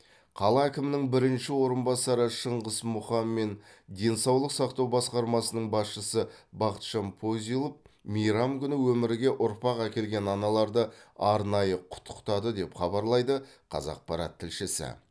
қала әкімінің бірінші орынбасары шыңғыс мұхан мен денсаулық сақтау басқармасының басшысы бақытжан позилов меирам күні өмірге ұрпақ әкелген аналарды арнаиы құттықтады деп хабарлайды қазақпарат тілшісі